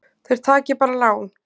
Þeir taki bara lán.